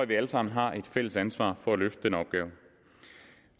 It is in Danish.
vi alle sammen har et fælles ansvar for at løfte